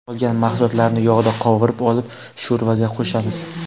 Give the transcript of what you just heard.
Qolgan mahsulotlarni yog‘da qovurib olib, sho‘rvaga qo‘shamiz.